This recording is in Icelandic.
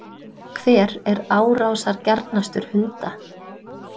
Hver er árásargjarnastur hunda?